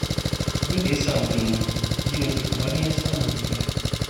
Abin da ya samu Jummai, ji nake kamar ni ya samu wallahi